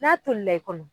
N'a tolila i kɔnɔ